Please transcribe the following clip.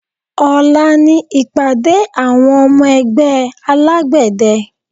Ọ̀la ni ìpàdé àwọn ọmọ ẹgbẹ́ alágbẹ̀dẹ